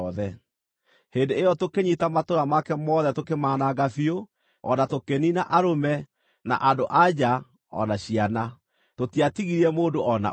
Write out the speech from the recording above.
Hĩndĩ ĩyo tũkĩnyiita matũũra make mothe tũkĩmaananga biũ, o na tũkĩniina arũme, na andũ-a-nja, o na ciana. Tũtiatigirie mũndũ o na ũmwe.